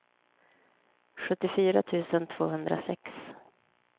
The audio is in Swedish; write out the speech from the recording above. sjuttiofyra tusen tvåhundrasex